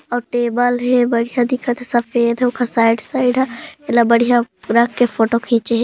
अऊ टेबल हे बड़िया दिखत हे सफेद हे ओकर साइड साइड हा एला बड़िहा रख के फोटो खिचे हे ।